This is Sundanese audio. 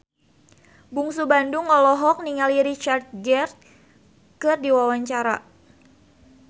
Bungsu Bandung olohok ningali Richard Gere keur diwawancara